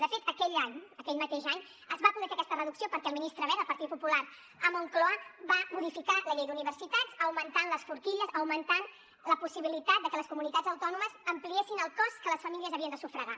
de fet aquell any aquell mateix any es va poder fer aquesta reducció perquè el ministre wert del partit popular a moncloa va modificar la llei d’universitats augmentant les forquilles augment la possibilitat de que les comunitats autònomes ampliessin el cost que les famílies havien de sufragar